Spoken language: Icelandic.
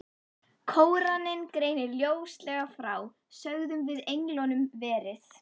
Kóraninn greinir ljóslega frá, sögðum við englunum, verið